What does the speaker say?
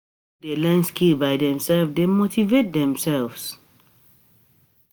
Pipo wey de learn skills by themselves de motivate themselves